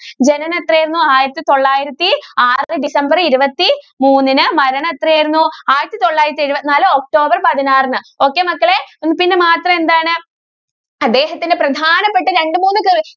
ജനനം എത്രയായിരുന്ന് ആയിരത്തി തൊള്ളായിരത്തി ആറ് december ഇരുപത്തി മൂന്നിന് മരണം എത്രയായിരുന്ന് ആയിരത്തി തൊള്ളായിരത്തി എഴുപത്തി നാല് october പതിനാറിന്. okay മക്കളെ. മാത്രം എന്താണ്? അദ്ദേഹത്തിന്റെ പ്രധാനപ്പെട്ട രണ്ട് മൂന്ന്